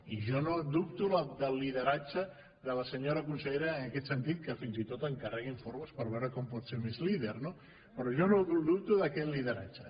i jo no dubto del lideratge de la senyora consellera en aquest sentit que fins i tot encarrega informes per veure com pot ser més líder no però jo no dubto d’aquest lideratge